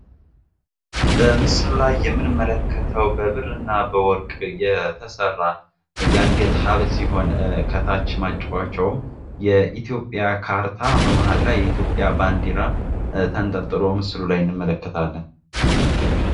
በምስሉ ላይ የምንመለከተው በብር እና በወርቅ የተሰራ የአንገት ሀብል ሲሆን ከታች ማጫወቻውም የኢትዮጵያ ካርታ በመሀል ላይ የኢትዮጵያ ባንዲራ ተንጠልጥሎ ምስሉ ላይ እንመለከታለን።